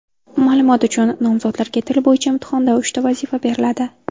Ma’lumot uchun, nomzodlarga til bo‘yicha imtihonda uchta vazifa beriladi.